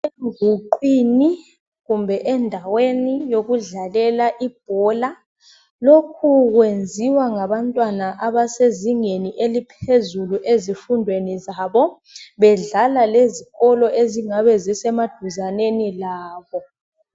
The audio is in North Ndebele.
Enguqwini kumbe endaweni yokudlalela ibhola lokhu kwenziwa ngabantwana abasezingeni eliphezulu ezifundweni zabo bedlala lezikolo ezingabe zisemaduzaneni labo.